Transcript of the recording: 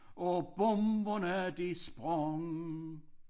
Og bomberne de sprang